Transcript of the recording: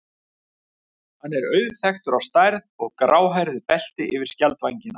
Hann er auðþekktur á stærð og gráhærðu belti yfir skjaldvængina.